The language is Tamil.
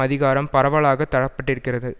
அதிகாரம் பரவலாகத் தர பட்டிருக்கிறது